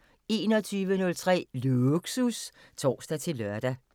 21:03: Lågsus (tor-lør)